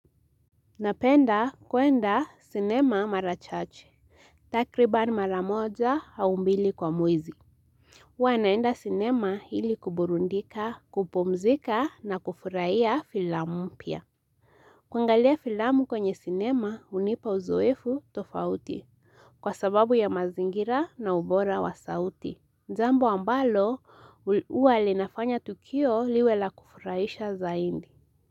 Napenda kuenda sinema mara chache, takriban mara moja au mbili kwa mwezi. Huwa naenda sinema ili kuburudika, kupumzika na kufurahia filamu mpya. Kuangalia filamu kwenye sinema hunipa uzoefu tofauti. Kwa sababu ya mazingira na ubora wa sauti. Jambo ambalo huwa linafanya tukio liwe la kufurahisha zaidi.